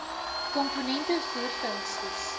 komponente voer funksies